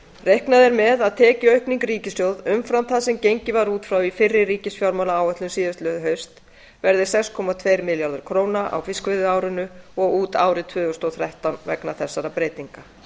reiknað er með að tekjuaukning ríkissjóðs umfram það sem gengið var út frá í fyrri ríkisfjármálaáætlun síðastliðið haust verði sex komma tvo milljarða króna á fiskveiðiárinu og út árið tvö þúsund og þrettán vegna þessara breytinga